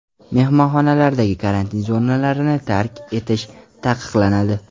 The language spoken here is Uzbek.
Mehmonxonalardagi karantin zonalarin i tark etish taqiqlanadi .